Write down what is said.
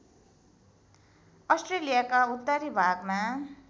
अस्ट्रेलियाका उत्तरी भागमा